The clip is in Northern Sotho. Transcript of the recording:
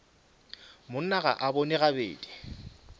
monna ga a bone gabedi